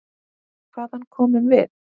Hvaðan komum við?